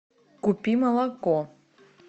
купи молоко